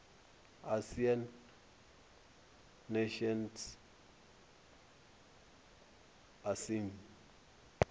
asian nations asean